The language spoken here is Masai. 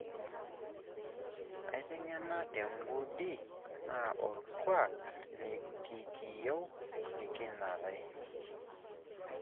Aitengena tengudi naa orkuak likikiyeu nikinangare.